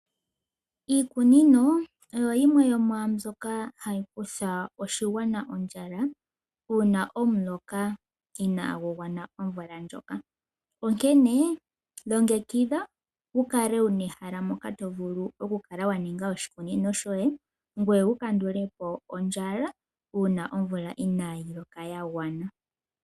Iikunino oyo yimwe yomwaambyoka hayi kutha oshigwana ondjala uuna omuloka inagugwana omvula ndjoka, onkene longekidha wukale wuna ehala mpoka tovulu oku kala waninga oshikunino shoye ngoye wu kandulepo ondjala uuna omvula inayiloka yagwana.